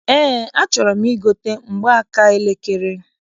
Eé, achọrọ m igote mgbaaka elekere.